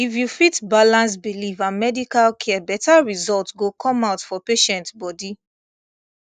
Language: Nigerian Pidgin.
if you fit balance belief and medical care better result go come out for patient body